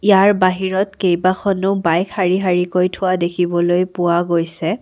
য়াৰ বাহিৰত কেইবাখনো বাইক শাৰী শাৰী কৈ থোৱা দেখিবলৈ পোৱা গৈছে।